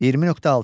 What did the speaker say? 20.6.